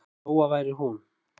Lóa væri hún.